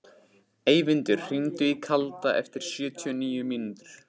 Eyvindur, hringdu í Kalda eftir sjötíu og níu mínútur.